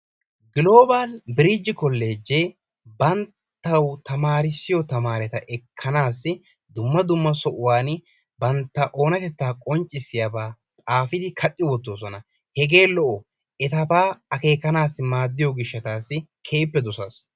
Giloobal biriji kollejee banttawu tamarisiyoo taamareta ekkanaasi dumma dumma sohuwaan bantta onatettaa qonccisiyaaba xaafidi kaaqqi woottidoosona. hegee lo"o etabaa akeekanassi maaddiyoo giishshatassi keehippe doosas.